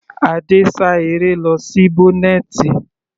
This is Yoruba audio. Adé sá eré lọ sí bọ́nẹ̀tì.